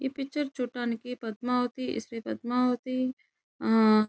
ఈ పిక్చర్ చుడటానికి పద్మావతి శ్రీ పద్మావతి --